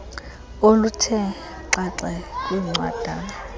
oluthe xaxe kwincwadana